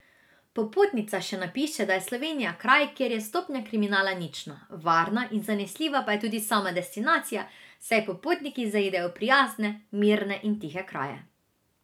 Popotnica še napiše, da je Slovenija kraj, kjer je stopnja kriminala nična, varna in zanesljiva pa je tudi sama destinacija, saj popotniki zaidejo v prijazne, mirne in tihe kraje.